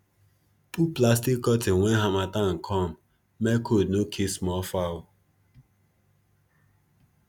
put plastic curtain when harmattan come make cold no kill small fowl